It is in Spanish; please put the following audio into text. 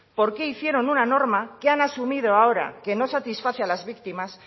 por qué hicieron una norma que han asumido ahora que no satisface a las víctimas